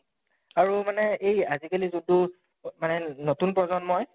আৰু মানে এই আজি কালি যোনটো অ মানে নতুন প্ৰজন্মই